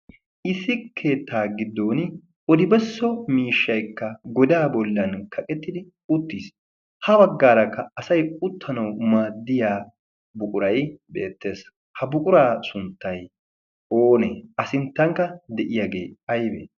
issi keettaa giddon odibesso miishshaykka godaa bollan kaqettidi uttiis. ha baggaarakka asay uttanawu maaddiya buquray beettees. ha buquraa sunttay oonee a sinttankka de'iyaagee aibee?